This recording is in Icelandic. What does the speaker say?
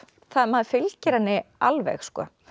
maður fylgir henni alveg